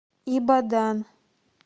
ибадан